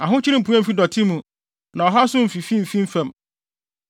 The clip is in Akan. Ahokyere mpue mmfi dɔte mu na ɔhaw nso mfifi mmfi fam.